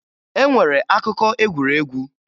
E nwere akụkọ egwuregwu